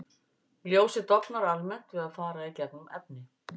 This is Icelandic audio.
Ljósið dofnar almennt við að fara í gegnum efni.